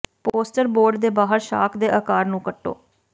poster board ਦੇ ਬਾਹਰ shark ਦੇ ਆਕਾਰ ਨੂੰ ਕੱਟੋ